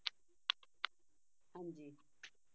ਹਾਂਜੀ